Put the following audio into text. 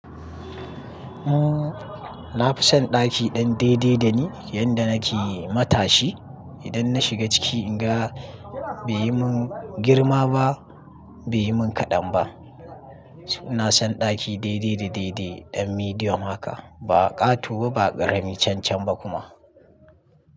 Umm, na fi son ɗaki ɗan daidai dani yanda nake matashi. Idan na shiga ciki in ga bai yi mun girma ba, bai yi mun kaɗan ba. Na son ɗaki daidai da daidai, ɗan medium haka. Ba ƙato ba, ba ƙarami cancan ba kuma.